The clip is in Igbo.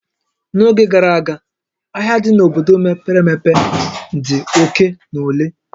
N'oge gara aga, ahịa dị n'obodo mepere emepe dị oke na ole